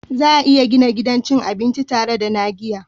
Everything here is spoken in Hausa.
Za a iya gina gidan cin abinci tare da na giya